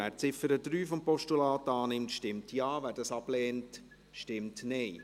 Wer die Ziffer 3 des Postulats annimmt, stimmt Ja, wer dies ablehnt, stimmt Nein.